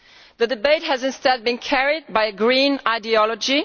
The debate has instead been carried by Green ideology